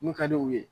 Mun ka di u ye